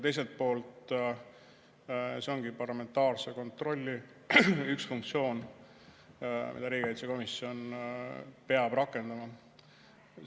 Teiselt poolt, see ongi parlamentaarse kontrolli üks funktsioon, mida riigikaitsekomisjon peab rakendama.